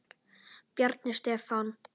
Bjarni Stefán.